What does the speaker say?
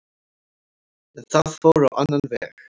En það fór á annan veg